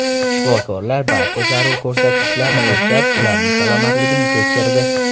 Shifokorlar barcha zarur ko‘rsatkichlarni o‘lchab, ularning salomatligini tekshirdi.